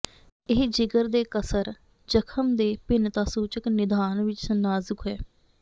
ਇਹ ਜਿਗਰ ਦੇ ਕਸਰ ਜਖਮ ਦੇ ਭਿੰਨਤਾਸੂਚਕ ਨਿਦਾਨ ਵਿੱਚ ਨਾਜ਼ੁਕ ਹੈ